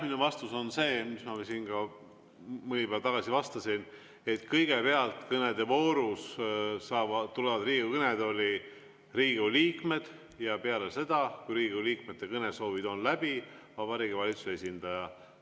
Mu vastus on see, mis ma siin ka mõni päev tagasi vastasin, et kõigepealt kõnede voorus tulevad Riigikogu kõnetooli Riigikogu liikmed, ja peale seda, kui Riigikogu liikmete kõnesoovid on läbi, tuleb Vabariigi Valitsuse esindaja.